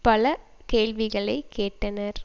பல கேள்விகளைக் கேட்டனர்